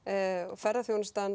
ferðaþjónustunni